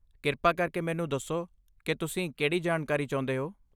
ਕਿਰਪਾ ਕਰਕੇ ਮੈਨੂੰ ਦੱਸੋ ਕਿ ਤੁਸੀਂ ਕਿਹੜੀ ਜਾਣਕਾਰੀ ਚਾਹੁੰਦੇ ਹੋ।